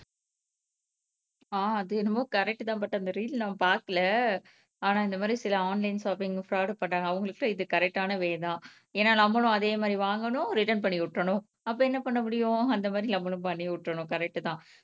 ஆஹ் அது என்னமோ கரெக்ட்டுதான் பட் அந்த ரீல் நான் பாக்கல ஆனா இந்த மாதிரி சில ஆன்லைன் ஷாப்பிங்க் ஃப்ராடு பண்றாங்க அவுங்களுக்கு தான் இது கரெக்ட்டான வே தான் ஏனா நம்மளும் அதே மாதிரி வாங்கனும் ரிட்டன் பண்ணி விட்டுரணும் அப்போ என்ன பண்ண முடியும் அந்த மாதிரி நம்மளும் பண்ணி விட்டுரணும் கரெக்ட்டு தான்